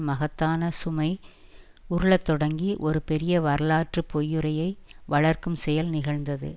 மகத்தான சுமை உருளத்தொடங்கி ஒரு பெரிய வரலாற்று பொய்யுரையை வளர்க்கும் செயல் நிகழ்ந்தது